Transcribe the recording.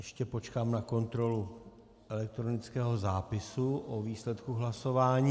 Ještě počkám na kontrolu elektronického zápisu o výsledku hlasování.